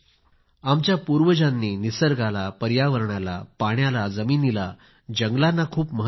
आमच्या पूर्वजांनी निसर्गाला पर्यावरणाला पाण्याला जमिनीला जंगलांना खूप महत्व दिले